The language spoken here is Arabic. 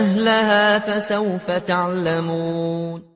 أَهْلَهَا ۖ فَسَوْفَ تَعْلَمُونَ